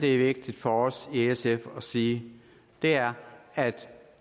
er vigtigt for os i sf at sige er at